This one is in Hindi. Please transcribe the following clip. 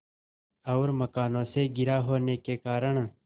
और मकानों से घिरा होने के कारण